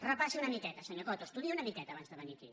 repassi una miqueta senyor coto estudiï una miqueta abans de ve nir aquí